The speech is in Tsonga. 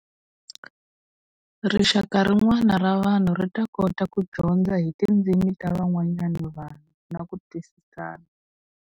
Rixaka rin'wana ra vanhu ri ta kota ku dyondza hi tindzimi ta van'wanyana vanhu na ku twisisana.